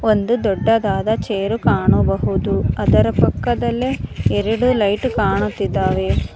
ಒಂದು ದೊಡ್ಡದಾದ ಚೇರು ಕಾಣಬಹುದು ಅದರ ಪಕ್ಕದಲ್ಲೇ ಎರಡು ಲೈಟು ಕಾಣುತ್ತಿದ್ದಾವೆ.